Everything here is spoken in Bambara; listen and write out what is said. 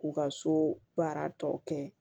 K'u ka so baara tɔ kɛ